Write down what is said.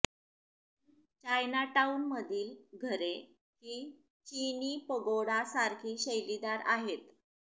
Chinatown मधील घरे ही चिनी पगोडा सारखी शैलीदार आहेत